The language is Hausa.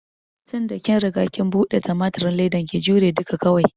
Tinda kin riga kin buɗe tumatirin ledan, ki jure duka kawai!